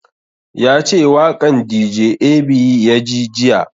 Ya ce waƙan dj ab ya ji jiya